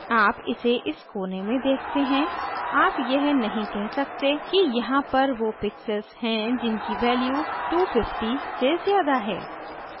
आप इसे इस कोने में देखते हैं आप यह नहीं कह सकते कि यहाँ पर वो pixels हैं जिनकी value 250 से ज़्यादा है